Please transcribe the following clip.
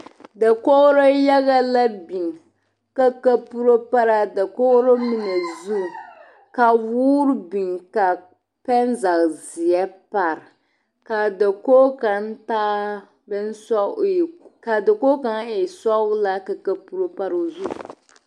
Dakogro yaga la biŋ ka kaporo pare a dakogi mine zu ka woɔre biŋ ka pɛnzage zeɛ pare ka a dakogi kaŋ taa bonsɔg ai ka dakogi kaŋ e sɔglaa ka kaporo pare o zu.